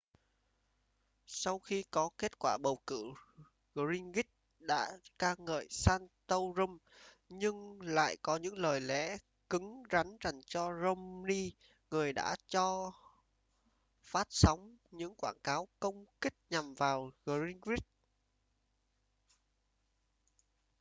sau khi có kết quả bầu cử gingrich đã ca ngợi santorum nhưng lại có những lời lẽ cứng rắn dành cho romney người đã cho phát sóng những quảng cáo công kích nhằm vào gingrich